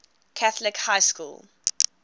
catholic high school